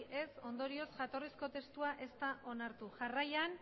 ondorioz jatorrizko testua ez da onartu jarraian